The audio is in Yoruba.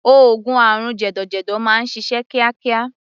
Oògùn àrùn jẹ̀dọ̀jẹ̀dọ̀ máa ń ṣiṣẹ́ kíákíá.